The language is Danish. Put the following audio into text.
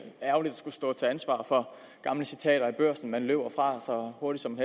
ærgerligt at skulle stå til ansvar for gamle citater i børsen man løber fra så hurtigt som en